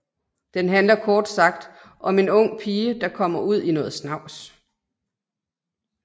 Den handler kort sagt om om en ung pige der kommer ud i noget snavs